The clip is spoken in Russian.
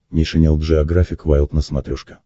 нейшенел джеографик вайлд на смотрешке